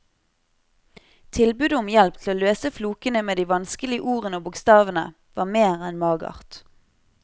Tilbudet om hjelp til å løse flokene med de vanskelige ordene og bokstavene var mer enn magert.